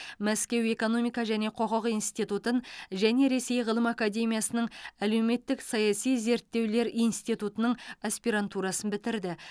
мәскеу экономика және құқық институтын және ресей ғылым академиясының әлеуметтік саяси зерттеулер институтының аспирантурасын бітірді